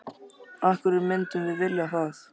Af hverju myndum við vilja það?